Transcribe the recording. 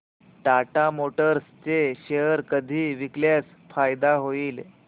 Tata Motors चे share कधी विकल्यास फायदा होईल